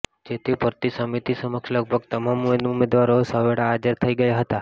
જેથી ભરતી સમિતિ સમક્ષ લગભગ તમામ ઉમેદવારો સવેળા હાજર થઇ ગયા હતા